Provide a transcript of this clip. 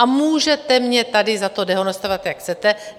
A můžete mě tady za to dehonestovat, jak chcete.